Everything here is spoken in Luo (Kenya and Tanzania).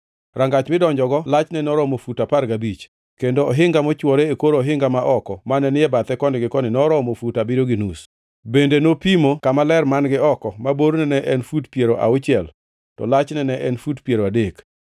Rangach midonjogo lachne noromo fut apar gabich, kendo ohinga mochwore e kor ohinga ma oko mane ni e bathe koni gi koni noromo fut abiriyo gi nus. Bende nopimo kama ler man-gi oko, ma borne ne en fut piero auchiel, to lachne ne en fut piero adek.